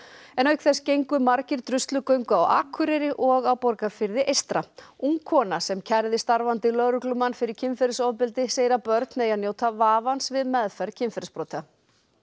auk þess gengu margir á Akureyri og á Borgarfirði eystra ung kona sem kærði starfandi lögreglumann fyrir kynferðisofbeldi segir að börn eigi að njóta vafans við meðferð kynferðisbrota